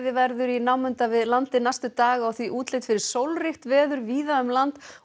verður í námunda við landið næstu daga og því útlit fyrir sólríkt veður víða um land og